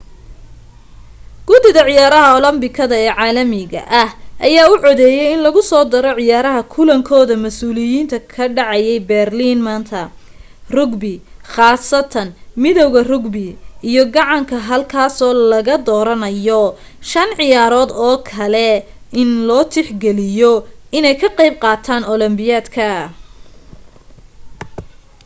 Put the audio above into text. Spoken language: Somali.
gudida ciyaaraha olobikada ee caalamiga ah ayaa u codeeyay in lagusoo daro ciyaaraha kulankooda masuuliyiinka ka dhacaya berlin maanta rugby khaasatan midawga rugby iyo gacanka halkaasoo laga dooranayo shan ciyaarood oo kale in loot ix galiyo inay ka qayb qaataan olombikada